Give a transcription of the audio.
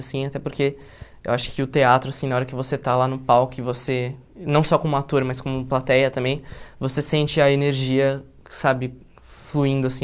Assim até porque eu acho que o teatro assim, na hora que você está lá no palco e você, não só como ator, mas como plateia também, você sente a energia sabe fluindo assim.